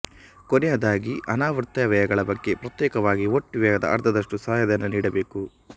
ಕೊನೆಯದಾಗಿ ಅನಾವರ್ತ ವ್ಯಯಗಳ ಬಗ್ಗೆ ಪ್ರತ್ಯೇಕವಾಗಿ ಒಟ್ಟು ವ್ಯಯದ ಅರ್ಧದಷ್ಟು ಸಹಾಯಧನ ನೀಡಬೇಕು